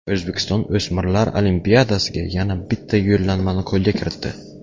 O‘zbekiston o‘smirlar Olimpiadasiga yana bitta yo‘llanmani qo‘lga kiritdi.